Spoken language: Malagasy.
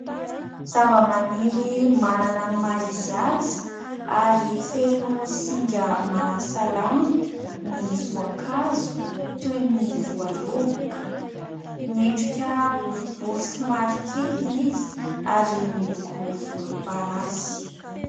Zavamaniry manana ny maha izy azy ary feno singa mahasalama ny voankazo toy ny voaloboka, miendrika boribory somary kely izy ary miloko volomparasy.